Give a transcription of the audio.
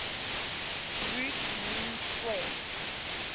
root mean square